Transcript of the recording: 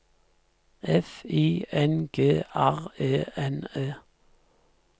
F I N G R E N E